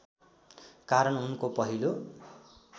कारण उनको पहिलो